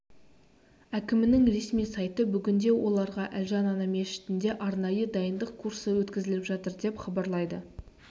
әкімінің ресми сайты бүгінде оларға әлжан ана мешітінде арнайы дайындық курсы өткізіліп жатыр деп хабарлайды